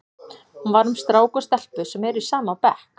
Hún var um strák og stelpu sem eru í sama bekk.